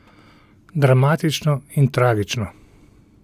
Dramatično in tragično.